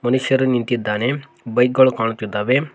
ಮನುಷ್ಯರು ನಿಂತಿದ್ದಾನೆ ಬೈಕ್ ಗಳು ಕಾಣುತ್ತಿದ್ದಾವೆ.